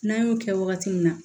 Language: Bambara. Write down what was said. N'an y'o kɛ wagati min na